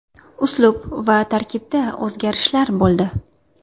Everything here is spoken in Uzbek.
Uslub va tarkibda o‘zgarishlar bo‘ldi.